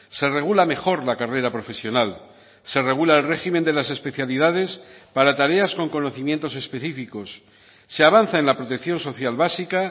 se regula mejor la carrera profesional se regula el régimen de las especialidades para tareas con conocimientos específicos se avanza en la protección social básica